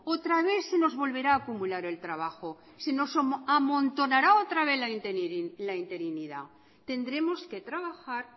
otra vez se nos volverá a acumular el trabajo se nos amontonará otra vez la interinidad tendremos que trabajar